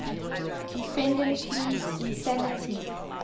defendant pleads insanity